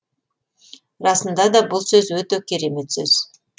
расында да бұл сөз өте керемет сөз